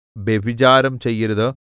വ്യഭിചാരം ചെയ്യരുത്